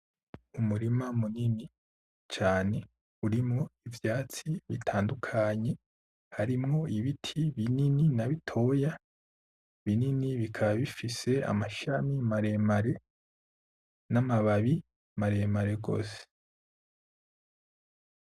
Umurima munini cane urimwo ivyatsi bitandukanye harimwo ibiti binini na bitoya, binini bikaba bifise amashami maremare n'amababi maremare gose.